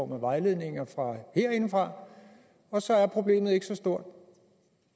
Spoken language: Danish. vejledninger herindefra og så er problemet ikke så stort